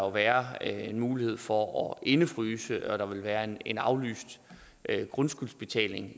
være en mulighed for at indefryse og der vil være en en aflyst grundskyldsbetaling